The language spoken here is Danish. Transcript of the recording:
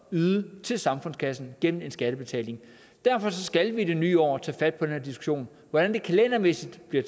yde til samfundskassen gennem en skattebetaling derfor skal vi i det nye år tage fat på den her diskussion hvordan det kalendermæssigt bliver